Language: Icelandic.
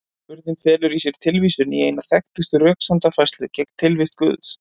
Spurningin felur í sér tilvísun í eina þekktustu röksemdafærslu gegn tilvist Guðs.